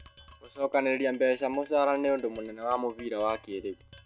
gũcokanĩrĩria mbeca mũcara nĩ ũndũ mũnene wa mũbĩra wa kĩrĩu